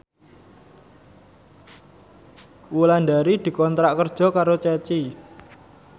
Wulandari dikontrak kerja karo Ceci